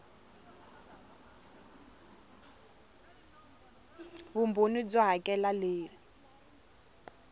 vumbhoni byo hakela r leyi